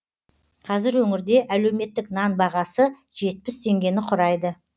қазір өңірде әлеуметтік нан бағасы жетпіс теңгені құрайды